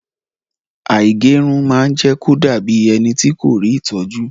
Àìgẹrun ma jẹ́kí o dabi ẹnití kò rí ìtọ́jú.